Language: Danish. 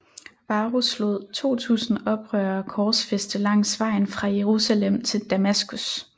Varus lod 2000 oprørere korsfæste langs vejen fra Jerusalem til Damaskus